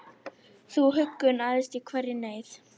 Þú huggun æðst í hverri neyð,